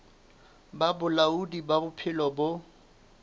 ba bolaodi ba bophelo bo